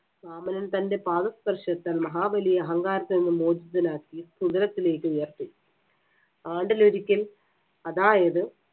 വാമനൻ തന്‍റെ പാദസ്പർശത്താൽ മഹാബലിയെ അഹങ്കാരത്തിൽ നിന്ന് മോചിതനാക്കി സുതലത്തിലേക്ക് ഉയർത്തി. ആണ്ടിലൊരിക്കൽ അതായത്